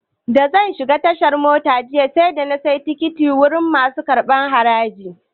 Da zan shiga tasha jiya, sai da na sayi tikiti wurin masu karɓar haraji.